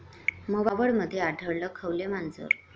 मावळमध्ये आढळलं खवले मांजर